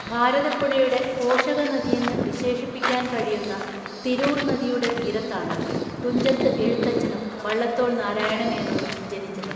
ഭാരതപ്പുഴയുടെ പോഷകനദിയെന്ന് വിശേഷിപ്പിക്കാൻ കഴിയുന്ന തിരൂർ നദിയുടെ തീരത്താണ് തുഞ്ചത്ത് എഴുത്തച്ഛനും വള്ളത്തോൾ നാരായണ മേനോനും ജനിച്ചത്.